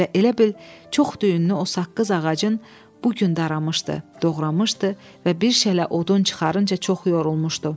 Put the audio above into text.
Və elə bil çox düyünlü o saqqız ağacın bu gün daramışdı, doğramışdı və bir şələ odun çıxarınca çox yorulmuşdu.